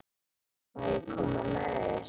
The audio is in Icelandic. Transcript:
Má ég koma með þér?